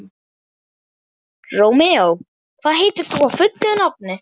Rómeó, hvað heitir þú fullu nafni?